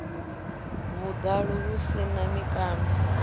vhuḓalo hu si na mikano